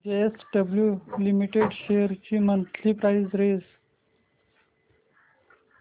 JSW Steel Limited shares ची monthly price range